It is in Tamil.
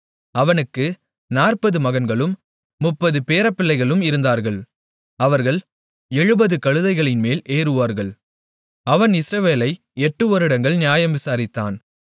அவனுக்கு 40 மகன்களும் 30 பேரப்பிள்ளைகளும் இருந்தார்கள் அவர்கள் 70 கழுதைகளின்மேல் ஏறுவார்கள் அவன் இஸ்ரவேலை எட்டு வருடங்கள் நியாயம் விசாரித்தான்